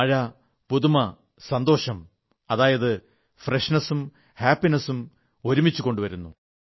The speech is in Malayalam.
മഴ പുതുമയും സന്തോഷവും ഒപ്പംകൊണ്ടുവരുന്നു